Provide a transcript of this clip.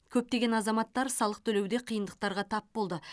көптеген азаматтар салық төлеуде қиындықтарға тап болды